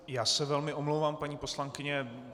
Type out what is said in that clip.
Já se velmi omlouvám, paní poslankyně.